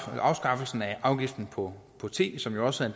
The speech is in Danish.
afskaffelsen af afgiften på på te som jo også er